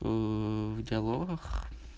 в диалогах